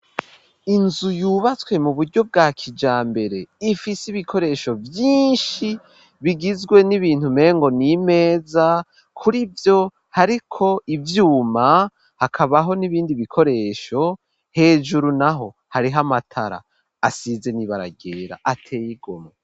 Inzu yubatswe mu buryo bwa kijambere ifise ibikoresho vyinshi bigizwe n'ibintu mpengo n'imeza kurivyo hariko ivyuma hakabaho n'ibindi bikoresho hejuru naho hariho amatara asize n'ibaragera atey'igoma.